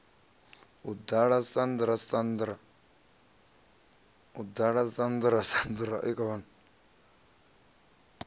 a ḓala sandra sandra a